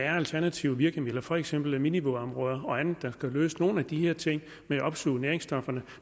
er alternativer virkemidler for eksempel minivådområder og andet der kan løse nogle af de her ting med at opsuge næringsstofferne